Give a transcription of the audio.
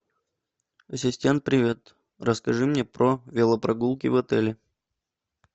ассистент привет расскажи мне про велопрогулки в отеле